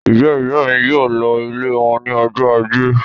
Ìyá-ìyá mi yóò lọ ilé wọn ní ọjọ́ ajé.